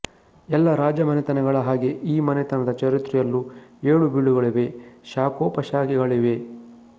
ಎಲ್ಲ ರಾಜಮನೆತನಗಳ ಹಾಗೆ ಈ ಮನೆತನದ ಚರಿತ್ರೆಯಲ್ಲೂ ಏಳುಬೀಳುಗಳಿವೆ ಶಾಖೋಪಶಾಖೆಗಳಿವೆ